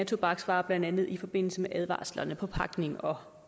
tobaksvarer blandt andet i forbindelse med advarslerne på pakning og